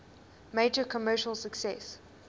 major commercial success